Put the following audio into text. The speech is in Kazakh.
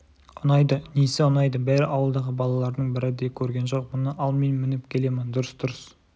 ұнайды несі ұнайды бәрі ауылдағы балалардың бірі де көрген жоқ мұны ал мен мініп келемін дұрыс-дұрыс